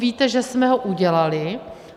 Víte, že jsme ho udělali.